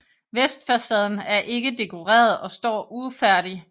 Vestfacaden er ikke dekoreret og står ufærdig